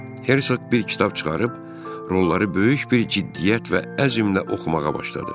Hersoq bir kitab çıxarıb, rolları böyük bir ciddiyyət və əzmlə oxumağa başladı.